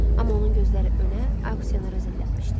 Amma onun gözləri önə, aksionərə zillənmişdi.